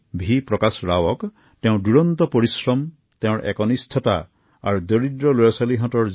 মই ড০ ৰাওৰ কঠোৰ পৰিশ্ৰম আৰু অধ্যাৱসায়ক অভিনন্দন জনাইছো